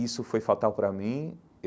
Isso foi fatal para mim.